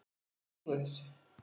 Þú lýgur þessu!